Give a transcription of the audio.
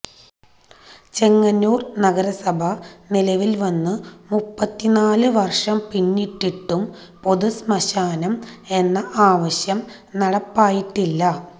ചെങ്ങന്നൂര് നഗരസഭ നിലവില് വന്നു മുപ്പത്തിനാല് വര്ഷം പിന്നിട്ടിട്ടും പൊതു ശ്മശാനം എന്ന ആവശ്യം നടപ്പായിട്ടില്ല